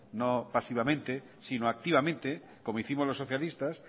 no pasivamente sino activamente como hicimos los socialistas